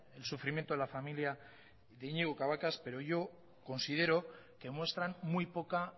el sufrimiento de la familia de iñigo cabacas pero yo considero que muestran muy poca